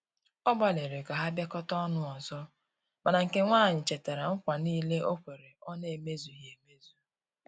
Ọ gbaliri ka ha biakota ọnụ ọzọ, mana nke nwanyi chetara nKwa nile okwere ọ na eme zughi emezụ